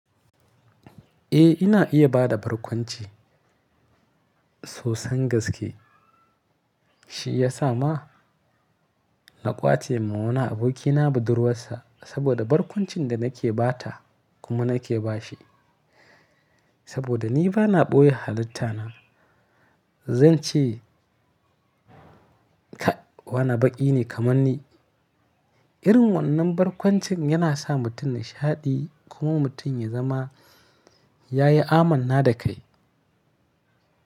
Eh, ina iya ba da barkwanci sosan gaske. Shi ya sa ma na ƙwace ma wani abokina budurwarsa saboda barkwancin da nake ba ta kuma nake bashi. Saboda ni ba na ɓoye halitta na, zan ce ka wani baƙi ne kamar ni. Irin wannan barkwancin yana sa mutum nishaɗi kuma mutum ya zama ya yi amanna da kai.